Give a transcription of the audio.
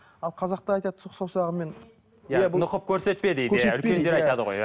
ал қазақта айтады сұқ саусағыңмен нұқып көрсетпе дейді